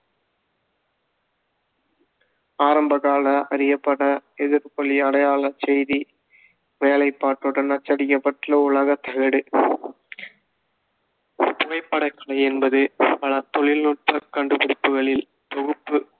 ஆரம்ப காலத்தில் அறியப்பட எதிரொளி அடையாளச் செய்தி வேலைப்பாட்டுடன் அச்சடிக்கப்பட்டுள்ள உலோக தகடு புகைப்படக்கலை என்பது பல தொழில்நுட்பக் கண்டுபிடிப்புகளில் தொகுப்பு